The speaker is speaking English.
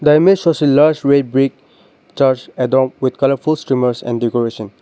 the image shows a large red brick church adorned with colourful streamers and decoration.